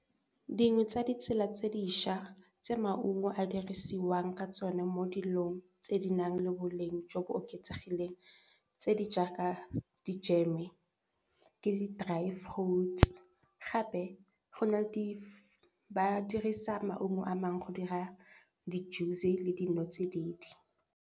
Dingwe tsa ditsela tse dišwa tse maungo a dirisiwang ka tsone mo dilong tse di nang le boleng jo bo oketsegileng tse di jaaka dijeme ke di driet roots gape ba di dirisa maungo a mangwe go dira di juice le dinotsididi.